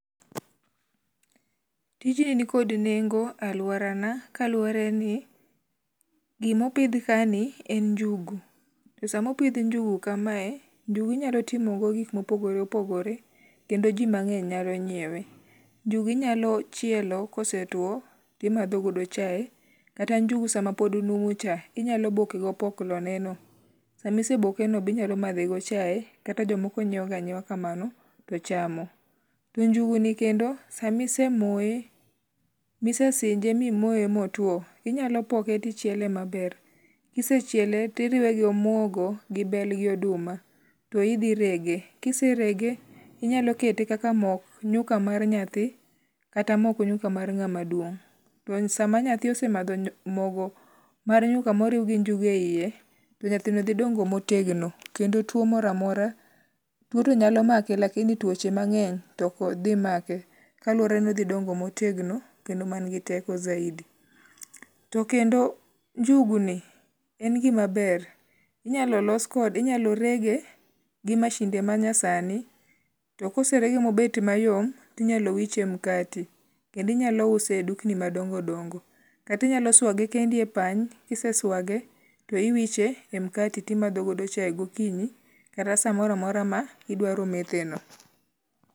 Tijni nikod nengo e aluora na kaluwore ni gimopidh ka ni en njugu. To samopidh njugu kamae, njugu inyalo timo go gik mopogore opogore kendo ji mang'eny nyalo ngiewe. Njugu inyalo chielo kose tuo timadhogodo chae. Kata njugu sama pod onumu cha, inyalo boke go opoklo ne no. Sami ise boke no, binyalo madhe go chae kata jomoko nyiew ga anyiewa kamano to chamo. To njugu ni kendo, samise moye mise sinje mimoye motuo, inyalo poke tichiele maber. Kisechiele tiriwe gi omuogo gi bel gi oduma to idhi rege. Kiserege tinyalo kete kaka mok nyuka mar nyathi. Kata mok nyuka mar ng'ama duong. To sama nyathi osemadho mogo mar nyuka moriw gi njugu e yie to nyathino dhi dongo motegno. Kendo tuo moro amora tuo to nyalo make lakini tuoche mang'eny to ok dhi make. Kaluwore ni odhi dongo motegno kendo man gi teko zaidi. To kendo njugu ni en gima ber. Inyalo los kode inyalo rege gi masinde ma nyasani. To koserege mobet mayom tinyalo wiche e mkati. Kendo inyalo use e dukni madongo gongo. Katinyalo swage kendi e pany. Kiseswage, to iwiche e mkati timadho godo chae gokinyi kata samoro amora ma idwaro methe no.